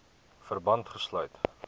verband gesluit